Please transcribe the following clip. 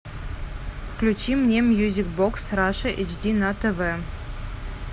включи мне мьюзик бокс раша эйч ди на тв